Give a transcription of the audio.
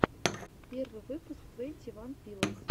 первый выпуск твенти ван пилотс